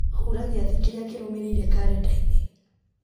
hura gĩathĩ kĩrĩa kĩrũmĩrĩire karenda-inĩ